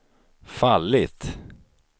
fallit